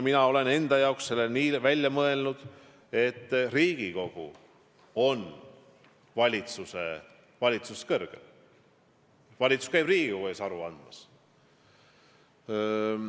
Mina olen enda jaoks selle nii läbi mõelnud, et Riigikogu on valitsusest kõrgem, valitsus käib Riigikogu ees aru andmas.